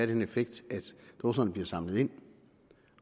den effekt at dåserne bliver samlet ind